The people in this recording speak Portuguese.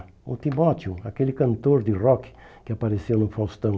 O Timóteo, aquele cantor de rock que apareceu no Faustão.